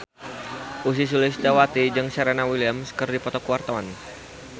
Ussy Sulistyawati jeung Serena Williams keur dipoto ku wartawan